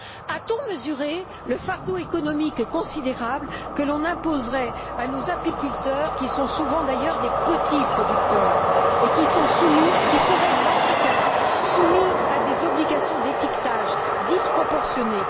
A t on mesuré le fardeau économique considérable que l'on imposerait à nos apiculteurs, qui sont souvent, d'ailleurs, des petits producteurs, et qui seraient, dans ce cas, soumis à des obligations d'étiquetage disproportionnées?